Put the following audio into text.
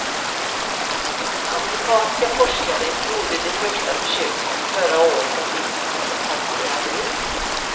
Amerikanska forskare gjorde de första försöken förra året och hittills har det fallit väl ut.